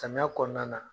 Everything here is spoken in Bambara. Samiya kɔnɔna na